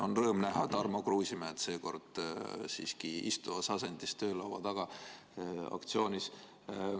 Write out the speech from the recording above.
On rõõm näha Tarmo Kruusimäed seekord siiski istuvas asendis töölaua taga aktsioonis.